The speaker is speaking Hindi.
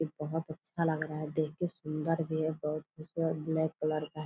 बहुत अच्छा लग रहा है देख के सुंदर भी है ब्लैक कलर का है।